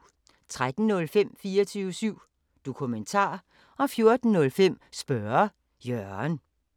13:05: 24syv Dokumentar 14:05: Spørge Jørgen